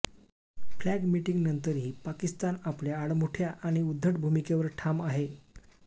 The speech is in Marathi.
फ्लॅग मीटिंगनंतरही पाकिस्तान आपल्या आडमुठया आणि उध्दट भूमिकेवर ठाम आहे